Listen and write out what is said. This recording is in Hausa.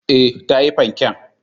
E, ta yi fanken.